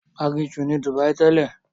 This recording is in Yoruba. Aginjù ni Dubai tẹ́lẹ̀.